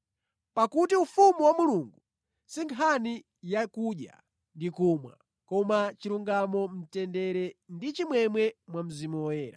Pakuti Ufumu wa Mulungu si nkhani yakudya ndi kumwa, koma chilungamo, mtendere ndi chimwemwe mwa Mzimu Woyera.